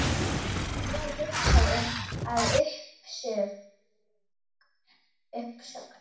Hefur þú hugað að uppsögn?